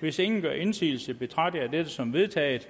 hvis ingen gør indsigelse betragter jeg dette som vedtaget